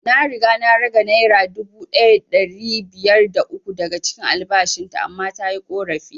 Na riga na rage naira dubu ɗaya da ɗari biyar da uku daga cikin albashin ta man tayi ƙorafi